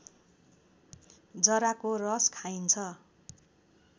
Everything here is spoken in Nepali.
जराको रस खाइन्छ